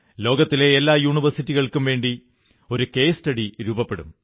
ലോകത്തിലെ എല്ലാ യൂണിവേഴ്സിറ്റികൾക്കും വേണ്ടി ഒരു കേസ് സ്റ്റഡി രൂപപ്പെടും